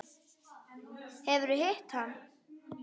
Hefurðu hitt hann?